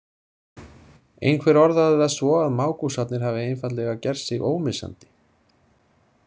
Einhver orðaði það svo að mágúsarnir hafi einfaldlega gert sig ómissandi.